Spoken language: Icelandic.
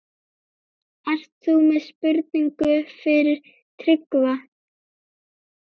Ert þú með spurningu fyrir Tryggva?